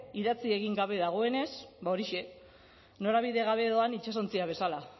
idatzi egin gabe dagoenez ba horixe norabide gabe doan itsasontzia bezala